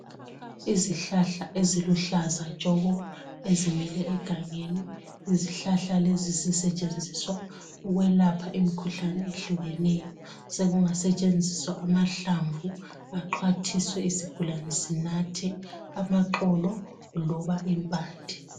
Izihlahla eziluhlaza tshoko ezimile egangeni .lzihlahla lezi zisetshenziswa ukwelapha imkhuhlane ehlukeneyo sekungasetshenziswa amahlamvu axhwathiswe isigulane sinathe . Amaxolo loba impande .